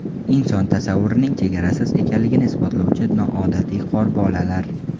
Inson tasavvurining chegarasiz ekanligini isbotlovchi noodatiy qorbolalar .